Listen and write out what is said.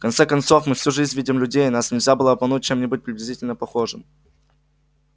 в конце концов мы всю жизнь видим людей и нас нельзя было бы обмануть чем-нибудь приблизительно похожим